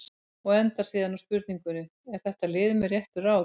Og endar síðan á spurningunni: Er þetta lið með réttu ráði?